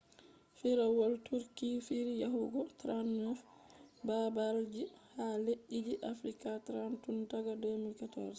firawol turkey fiiri yahugo 39 babalji ha leddije afrika 30 tun daga 2014